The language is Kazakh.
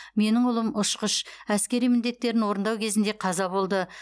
менің ұлым ұшқыш әскери міндеттерін орындау кезінде қаза болды